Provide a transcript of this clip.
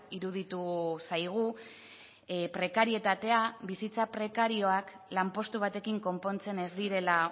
iruditu zaigu prekarietatea bizitza prekarioak lanpostu batekin konpontzen ez direla